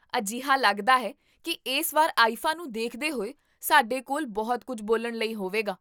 ਅਜਿਹਾ ਲੱਗਦਾ ਹੈ ਕੀ ਇਸ ਵਾਰ ਆਈਫਾ ਨੂੰ ਦੇਖਦੇ ਹੋਏ ਸਾਡੇ ਕੋਲ ਬਹੁਤ ਕੁੱਝ ਬੋਲਣ ਲਈ ਹੋਵੇਗਾ